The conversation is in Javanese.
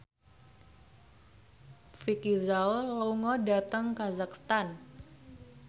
Vicki Zao lunga dhateng kazakhstan